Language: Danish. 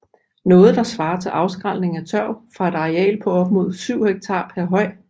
Noget der svarer til afskrælning af tørv fra et areal på op mod 7 hektar per høj